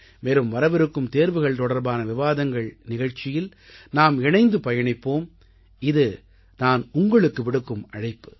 மேலும் வரவிருக்கும் தேர்வுகள் தொடர்பான விவாதங்கள் நிகழ்ச்சியில் நாம் இணைந்து பயணிப்போம் இது நான் உங்களுக்கு விடுக்கும் அழைப்பு